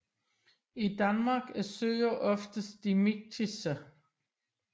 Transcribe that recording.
I Danmark er søer oftest dimiktiske